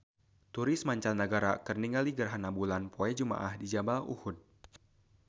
Turis mancanagara keur ningali gerhana bulan poe Jumaah di Jabal Uhud